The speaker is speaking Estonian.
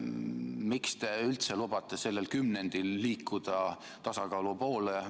Miks te üldse lubate sellel kümnendil liikuda tasakaalu poole?